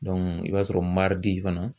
i b'a sɔrɔ fana